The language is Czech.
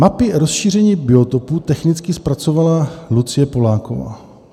Mapy rozšíření biotopů technicky zpracovala Lucie Poláková.